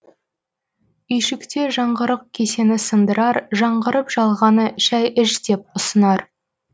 үйшікте жаңғырық кесені сындырар жаңғырып жалғаны шәй іш деп ұсынар